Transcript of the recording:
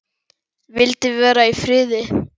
Vildi vera í friði.